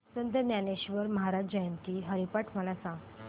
संत ज्ञानेश्वर महाराज जयंती हरिपाठ मला सांग